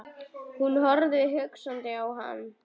Hún horfði hugsi á hann.